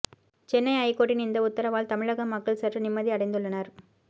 சென்னை ஐகோர்ட்டின் இந்த உத்தரவால் தமிழக மக்கள் சற்று நிம்மதி அடைந்துள்ளனர்